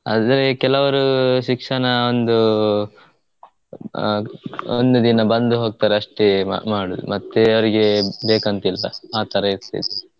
ಆದ್ರೇ ಕೆಲವ್ರು ಶಿಕ್ಷಣ ಒಂದು ಆಹ್ ಒಂದು ದಿನ ಬಂದು ಹೋಗ್ತರಷ್ಟೆ ಇವಾಗ್ ಮಾಡದು ಮತ್ತೆ ಅವ್ರಿಗೆ ಬೇಕಂತಿಲ್ಲ ಆಥರ ಇರ್ತಿದು.